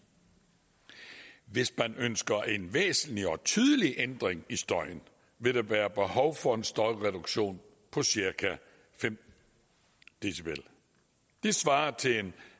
hvis man ønsker en væsentlig og tydelig ændring i støjen vil der være behov for en støjreduktion på cirka fem db det svarer til en